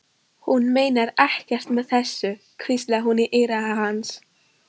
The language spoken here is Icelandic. Hún meinar ekkert með þessu, hvíslaði hún í eyra hans.